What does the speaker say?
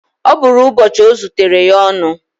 Ọ bụrụ ụbọchị ọ zutere ya ọnụ